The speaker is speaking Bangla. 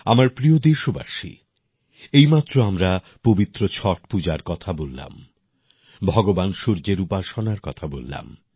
আমার প্রিয় দেশবাসী এইমাত্র আমরা পবিত্র ছট পূজার কথা বললাম ভগবান সূর্যের উপাসনার কথা বললাম